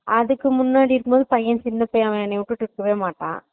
அதுக்கு முன்னாடி இருந்துதா பையென் சின்ன பையென் என்ன விட்டிட்டு போக மாட்டா